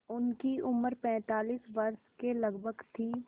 उनकी उम्र पैंतालीस वर्ष के लगभग थी